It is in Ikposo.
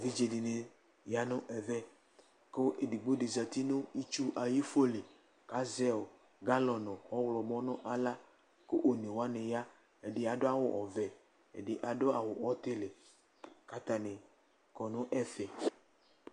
Evidze di ni ya nu ɛvɛ ku edigbo di zati nu itsu ayi ifo li, ku azɛ galɔ nu ɔwlɔmɔ nu aɣla, ku onewʋani ya, ɛdi adu awu ɔvɛ, ɛdi adu awu ɔtili, ku ata ni kɔ nu ɛfɛ